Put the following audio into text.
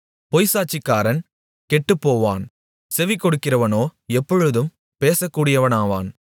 பொய்ச்சாட்சிக்காரன் கெட்டுப்போவான் செவிகொடுக்கிறவனோ எப்பொழுதும் பேசக்கூடியவனாவான்